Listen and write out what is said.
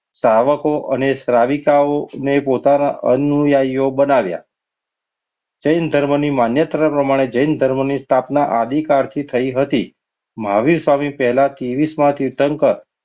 સાવકો અને સાવિકા ને પોતાના અનુયાયો બનાવ્યા. જૈન ધર્મની માન્યતા પ્રમાણે જૈન ધર્મની સ્થાપના આદિકાળથી થઈ હતી. મહાવીર સ્વામી પહેલા તેવીસમાં તીર્થંકર